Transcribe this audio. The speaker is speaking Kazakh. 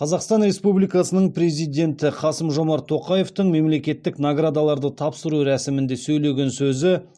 қазақстан республикасының президенті қасым жомарт тоқаевтың мемлекеттік наградаларды тапсыру рәсімінде сөйлеген сөзі